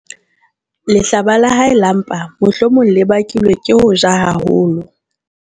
Lehlaba la hae la mpa mohlomong le bakilwe ke ho ja haholo.